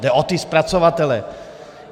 Jde o ty zpracovatele.